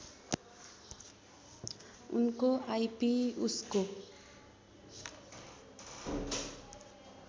उनको आइपी उसको